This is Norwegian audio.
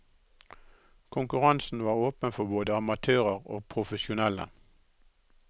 Konkurransen var åpen for både amatører og profesjonelle.